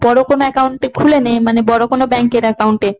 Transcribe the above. বড় কোন account এ খুলে নে মানে বড় কোন bank এর account এ।